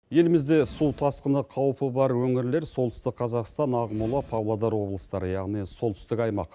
елімізде су тасқыны қауіпі бар өңірлер солтүстік қазақстан ақмола павлодар облыстары яғни солтүстік аймақ